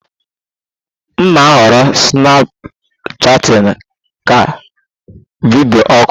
M na-ahọrọ Snapchatting ka video oku